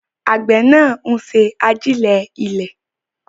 Àgbẹ̀ náà ń ṣe àjílẹ̀ ilẹ̀.